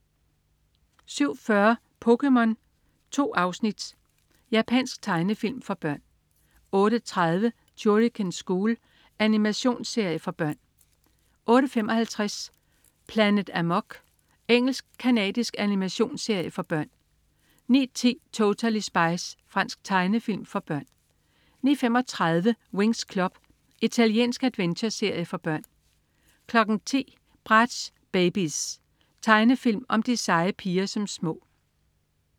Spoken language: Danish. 07.40 POKéMON. 2 afsnit. Japansk tegnefilm for børn 08.30 Shuriken School. Animationsserie for børn 08.55 Planet Amok. Engelsk-canadisk animationsserie for børn 09.10 Totally Spies. Fransk tegnefilm for børn 09.35 Winx Club. Italiensk adventureserie for børn 10.00 Bratz Babyz. Tegnefilm om de seje piger som små